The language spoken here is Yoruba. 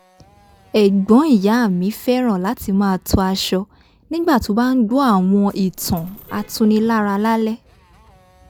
ẹ̀gbọ́n ìyá mi fẹ́ràn láti máa to aṣọ nígbà tó bá ń gbọ́ àwọn ìtàn atunilára lálẹ́